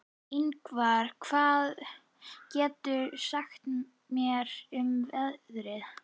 Yngvar, hvað geturðu sagt mér um veðrið?